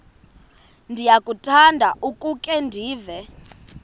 ndiyakuthanda ukukhe ndive